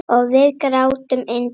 Og við grátum yndið okkar.